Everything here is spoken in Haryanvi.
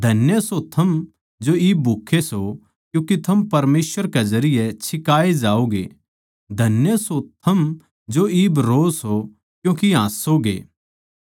धन्य सो थम जो इब भूक्खे सो क्यूँके थम परमेसवर के जरिये छिकाए जाओगे धन्य सो थम जो इब रोओ सो क्यूँके हांसोगे